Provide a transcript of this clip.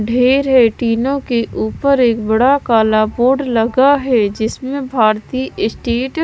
ढेर है टीनों के ऊपर एक बड़ा काला बोर्ड लगा है जिसमें भारतीय स्टेट --